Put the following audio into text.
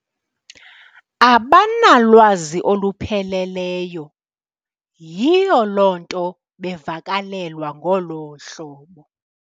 Abanalwazi olupheleleyo. Yiyo loo nto bevakalelwa ngolu hlobo.